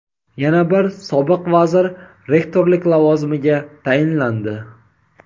Yana bir sobiq vazir rektorlik lavozimiga tayinlandi.